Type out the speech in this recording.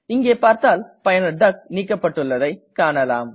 இங்கே பார்த்தால் பயனர் டக் நீக்கப்பட்டுள்ளதை காணலாம்